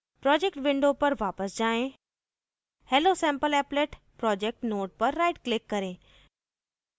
project window पर वापस जाएँ hellosampleapplet projects node पर right click करें